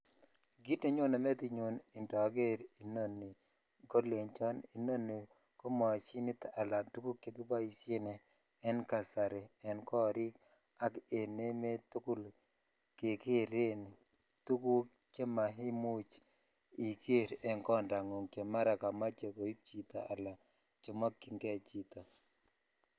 Kit nenyone metinyun indoor inoni kolecho inoni ko moshinit ala tuguk che kiboshen en kasari en korik ak en emet tukul kekeren tuguk che mainuch iger en kondanfung che mara jomoche koib chito ala komokyin kee chito.